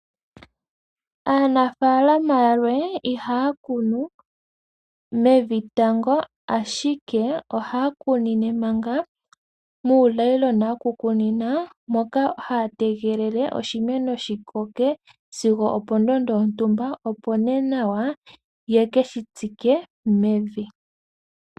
Aanafaalama yalwe ihaya kunu mei tango, ashike ohaya kunine manga muunayilona woku kunina. Moka haya tegelele oshimeno shi koke sigo opo ndondo yontumba opo nee nawa ye keshi tsike mevi.